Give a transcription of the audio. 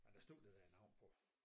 Men der stod det det navn på